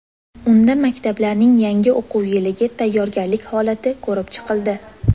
Unda maktablarning yangi o‘quv yiliga tayyorgarlik holati ko‘rib chiqildi.